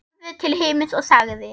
Horfði til himins og sagði